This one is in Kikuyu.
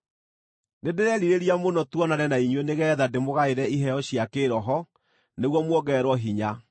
Nĩndĩrerirĩria mũno tuonane na inyuĩ nĩgeetha ndĩmũgaĩre iheo cia kĩĩroho nĩguo muongererwo hinya,